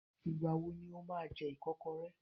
Ìgbà wo ni o máa jẹ ìkọ́kọrẹ́?